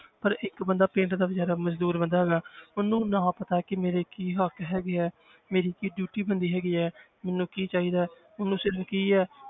ਪਰ ਇੱਕ ਬੰਦਾ ਪਿੰਡ ਦਾ ਬੇਚਾਰਾ ਮਜ਼ਦੂਰ ਬੰਦਾ ਹੈਗਾ ਹੈ ਉਹਨੂੰ ਨਾ ਪਤਾ ਕਿ ਮੇਰੇ ਕੀ ਹੱਕ ਹੈਗੇ ਹੈ ਮੇਰੀ ਕੀ duty ਬਣਦੀ ਹੈਗੀ ਹੈ ਮੈਨੂੰ ਕੀ ਚਾਹੀਦਾ ਹੈ ਉਹਨੂੰ ਸਿਰਫ਼ ਕੀ ਹੈ।